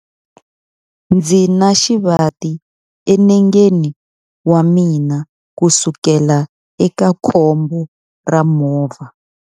Ndzi na xivati enengeni wa mina kusukela eka khombo ra movha.